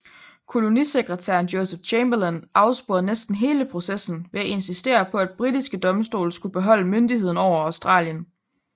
Kolonisekretæren Joseph Chamberlain afsporede næsten hele processen ved at insistere på at britiske domstole skulle beholde myndigheden over Australien